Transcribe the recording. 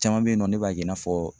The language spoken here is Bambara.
Caman bɛ yen nɔ ne b'a kɛ i n'a fɔ